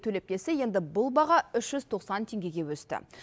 төлеп келсе енді бұл баға үш жүз тоқсан теңгеге өсті